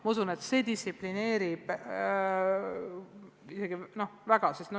Ma usun, et see distsiplineeriks isegi väga.